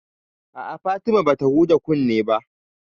A'a, Fatima bata huɗa kunne ba